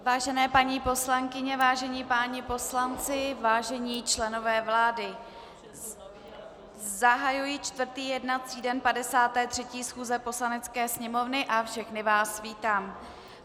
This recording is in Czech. Vážené paní poslankyně, vážení páni poslanci, vážení členové vlády, zahajuji čtvrtý jednací den 53. schůze Poslanecké sněmovny a všechny vás vítám.